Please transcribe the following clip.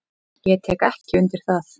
Ég tek ekki undir það.